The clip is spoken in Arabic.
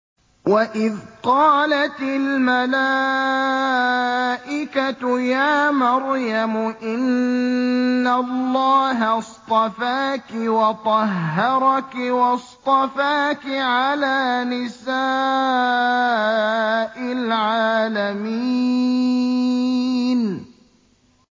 وَإِذْ قَالَتِ الْمَلَائِكَةُ يَا مَرْيَمُ إِنَّ اللَّهَ اصْطَفَاكِ وَطَهَّرَكِ وَاصْطَفَاكِ عَلَىٰ نِسَاءِ الْعَالَمِينَ